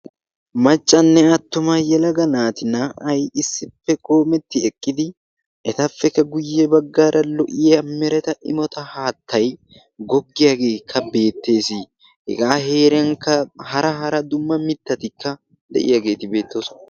Maccanne attuma yelaga naati naa''ay issippe qoometti eqqidi etappe guuyye baggaarakka lo''iya mereta immota haattay goggiyaagekka beettes. hega heeran hara hara mereta dumma mitattikka de'iyaageeti beettoosona.